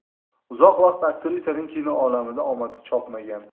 Uzoq vaqt aktrisaning kino olamida omadi chopmagan.